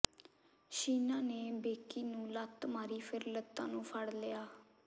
ਸ਼ੀਨਾ ਨੇ ਬੇਕੀ ਨੂੰ ਲੱਤ ਮਾਰੀ ਫਿਰ ਲੱਤਾਂ ਨੂੰ ਫੜ ਲਿਆ